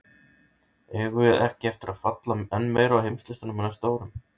Eigum við ekki eftir að falla enn meira á heimslistanum á næstu árum??